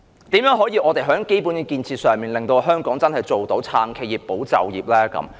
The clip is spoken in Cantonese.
政府可以怎樣在基本建設上，令香港真正做到"撐企業、保就業"呢？